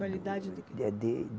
Qualidade do quê?